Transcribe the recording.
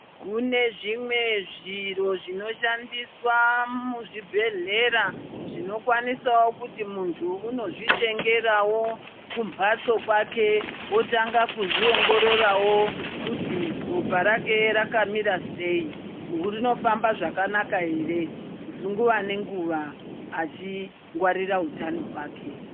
Kune zvimwe zviro zvinoshandiswa muzvibhedhlera zvinokwanisawo kuti munthu unozvitengerawo kumphatso kwake. Wotanga kuzviongororawo kuti ropa rake rakamira sei, rinofamba zvakanaka ere nguwa nenguwa achingwarira utano hwake.